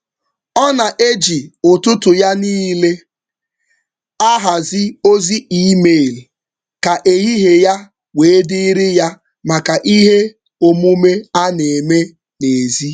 Ọ na-eji ụtụtụ ya niile ahazi ozi email ka ehihie ya wee dịirị ya maka ihe omume a na-eme n'ezi.